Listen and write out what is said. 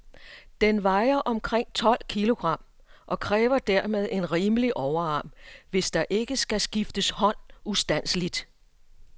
Den vejer omkring tolv kilogram, og kræver dermed en rimelig overarm, hvis der ikke skal skifte hånd ustandseligt.